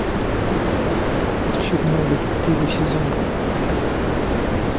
чернобыль первый сезон